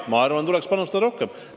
Jah, ma arvan, tuleks panustada rohkem.